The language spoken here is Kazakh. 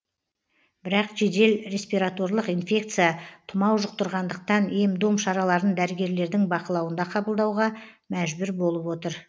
бірақ жедел респираторлық инфекция тұмау жұқтырғандықтан ем дом шараларын дәрігерлердің бақылауында қабылдауға мәжбүр болып отыр